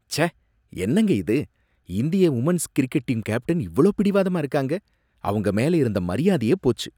ச்சே! என்னங்க இது, இந்திய உமென்ஸ் கிரிக்கெட் டீம் கேப்டன் இவ்ளோ பிடிவாதமா இருக்காங்க, அவங்க மேல இருந்த மரியாதையே போச்சு.